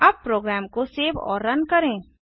अब प्रोग्राम को सेव और रन करें